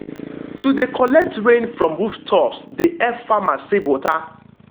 to de collect rain from rooftops de help farmers save water.